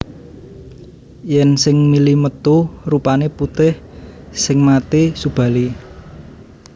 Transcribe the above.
Yen sing mili metu rupane putih sing mati Subali